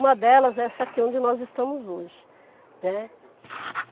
Uma delas é essa aqui onde nós estamos hoje, né.